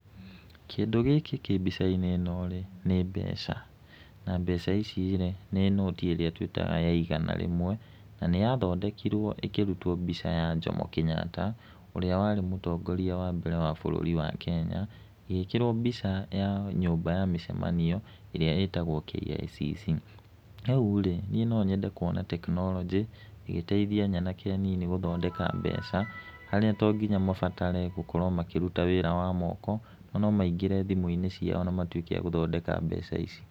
Kĩndũ gĩkĩ kĩ mbica-inĩ ĩno-rĩ nĩ mbeca, na mbeca ici-rĩ nĩ noti ĩrĩa twĩtaga ya igana rĩmwe, na nĩyathondekirwo ĩkĩrutwo mbica ya Jomo Kenyatta, ũrĩa warĩ mũtongoria wa mbere wa bũrũri wa Kenya, ĩgĩkĩrwo mbica ya nyũmba ya mĩcemanio, ĩrĩa ĩtagwo KICC. Rĩu-rĩ, niĩ no nyende kuona tekinoronjĩ ĩgĩteithia nyanake nini gũthondeka mbeca, harĩa to nginya mabatare gũkorwo makĩruta wĩra wa moko, no maingĩre thimũ-inĩ ciao na matuĩke a gũthondeka mbeca ici.